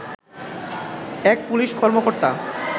এক পুলিশ কর্মকর্তা